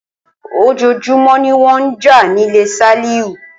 Ojoojúmó ni wón n jà nílé Sálíù